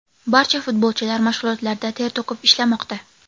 Barcha futbolchilar mashg‘ulotlarda ter to‘kib ishlamoqda.